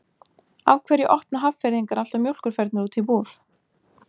af hverju opna hafnfirðingar alltaf mjólkurfernur úti í búð